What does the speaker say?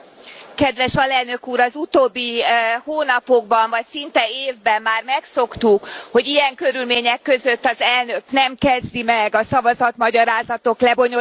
Elnök Úr, az utóbbi hónapokban vagy szinte évben már megszoktuk, hogy ilyen körülmények között az Elnök nem kezdi meg a szavazatindokolások lebonyolítását.